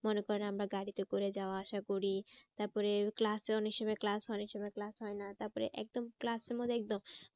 মনে করেন আমরা গাড়িতে করে যাওয়া আসা করি তারপরে class এ অনেক সময় class অনেক সময় class হয় না তারপরে একদম class এর মধ্যে একদম